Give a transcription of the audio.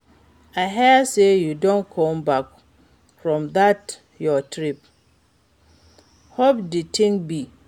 I hear sey you don come back from dat your trip, how di thing be?